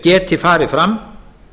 geti farið fram